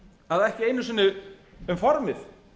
að ekki einu sinni um formið